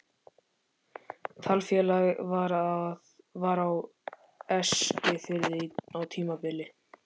Taflfélag var á Eskifirði á tímabili.